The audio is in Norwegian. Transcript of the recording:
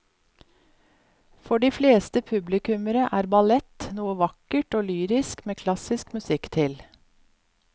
For de fleste publikummere er ballett noe vakkert og lyrisk med klassisk musikk til.